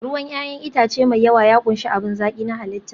ruwan 'ya'yan itace mai yawa ya ƙunshi abin zaki na halitta